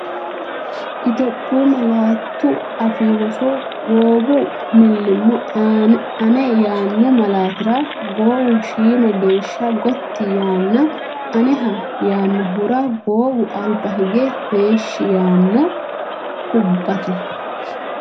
Itophiyu Malaatu Afii Roso Goowu millimmo Ane yaanno malaatira goowu shiima geeshsha gotti yaanna Aneha yaannohura goowu alba hige heeshshi yaanno, kubbate?